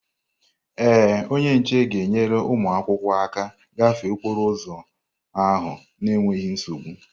Ee, onye nche ga-enyere ụmụ akwụkwọ aka ịgafe okporo ụzọ ahụ n'enweghị nsogbu.